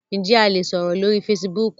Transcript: Njẹ a le sọrọ lori Fèsìbúukù?